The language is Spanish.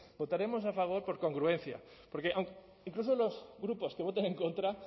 votaremos a favor por congruencia porque incluso los grupos que voten en contra